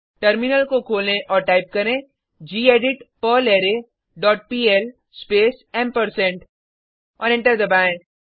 terminal को खोलें और टाइप करें gedit perlre dot pl space ampersand और एंटर दबाएँ